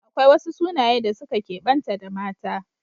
Akwai wasu sunaye da suka kebanta da mata